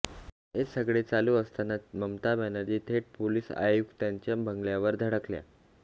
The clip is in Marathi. हे सगळे चालू असतानाच ममता बॅनर्जी थेट पोलिस आयुक्तांच्या बंगल्यावर धडकल्या